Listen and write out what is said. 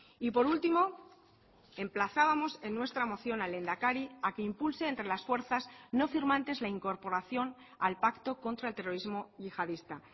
y por último emplazábamos en nuestra moción al lehendakari a que impulse entre las fuerzas no firmantes la incorporación al pacto contra el terrorismo yihadista